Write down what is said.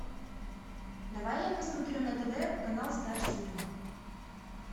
давай я посмотрю на тв канал стар синема